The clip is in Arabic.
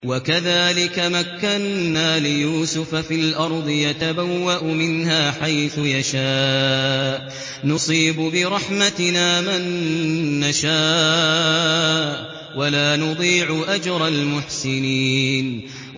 وَكَذَٰلِكَ مَكَّنَّا لِيُوسُفَ فِي الْأَرْضِ يَتَبَوَّأُ مِنْهَا حَيْثُ يَشَاءُ ۚ نُصِيبُ بِرَحْمَتِنَا مَن نَّشَاءُ ۖ وَلَا نُضِيعُ أَجْرَ الْمُحْسِنِينَ